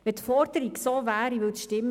Wenn das gefordert würde, wäre es richtig.